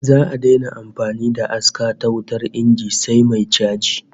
Za'a daina amfani da aska ta wutar inji sai mai chaji